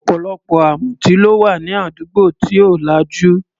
Ọ̀pọ̀lọpọ̀ amutí ló wà ní àdúgbò tí ò lajú.